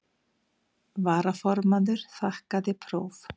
Varaformaður þakkaði próf.